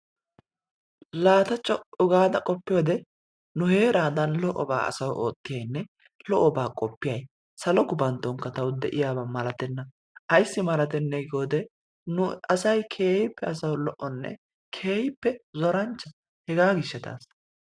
Laa ta co'u gaada qoppiyode nu heeraadan lo'obaa asawu ootyiyayinne lo'obaa qoppiyay salo gupanttonkka tawu diyaba malatenna. Ayissi malatennee giyode nu asay keehippe asawu lo'onne keehippe zoranchcha hegaa gishshataassa.